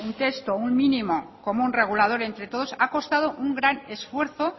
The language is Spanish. un mínimo común regulador entre todos ha costado un gran esfuerzo